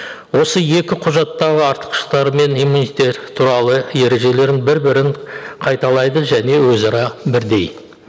осы екі құжаттағы артықшылықтары мен иммунитет туралы ережелерін бір бірін қайталайды және өзара бірдей